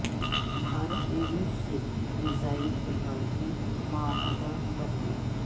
بھارت نے روس سے میزائل ٹیکنالوجی معاہدہ کر لیا